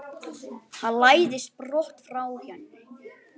Hann læðist brott frá henni.